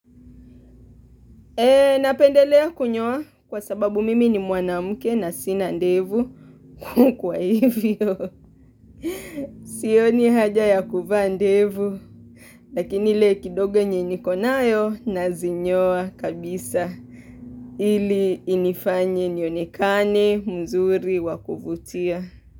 Napendelea kunyoa kwa sababu mimi ni mwanamuke na sina ndevu kukwa hivyo. Sio ni haja ya kufaa ndevu. Lakini ile kidogo nye nikonayo na zinyoa kabisa ili inifanye nionekane mzuri wakuvutia.